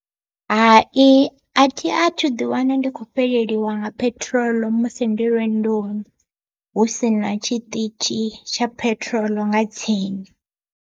Hai athi athu ḓi wana ndi kho fheleleliwa nga peṱirolo musi ndi lwendoni, husina tshiṱitzhi tsha peṱirolo nga tsini.